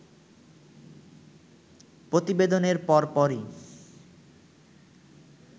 প্রতিবেদনের পরপরই